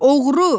Oğru!